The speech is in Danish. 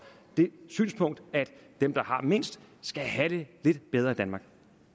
det synspunkt at dem der har mindst skal have det lidt bedre i danmark